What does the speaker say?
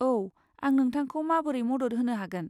औ, आं नोंथांखौ माबोरै मदद होनो हागोन?